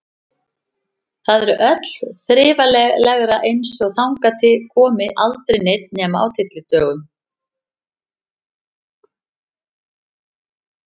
Þar er öllu þrifalegra, eins og þangað komi aldrei neinn nema á tyllidögum.